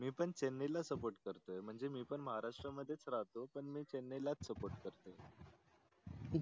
मी पन चेन्नई ला SUPPORT करतो पन मी पण महाराष्ट्र मध्येच राहतो पन मी चेन्नई लाच SUPPORT करतो